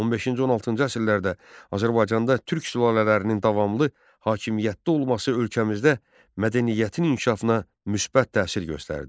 15-16-cı əsrlərdə Azərbaycanda türk sülalələrinin davamlı hakimiyyətdə olması ölkəmizdə mədəniyyətin inkişafına müsbət təsir göstərdi.